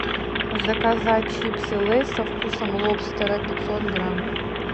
заказать чипсы лейс со вкусом лобстера пятьсот грамм